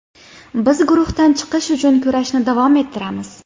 Biz guruhdan chiqish uchun kurashni davom ettiramiz.